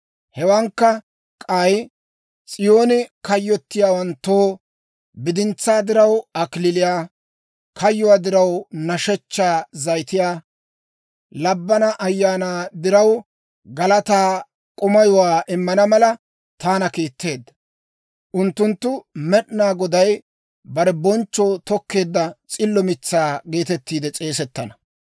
Hewaadankka k'ay, S'iyoonen kayyottiyaawanttoo, bidintsaa diraw kalachchaa, kayyuu diraw nashshechchaa zayitiyaa, labbana ayaanaa diraw galataa k'umayuwaa immana mala, taana kiitteedda. Unttunttu Med'inaa Goday bare bonchchoo tokkeedda s'illo mitsaa geetettiide s'eesettana.